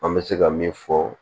An bɛ se ka min fɔ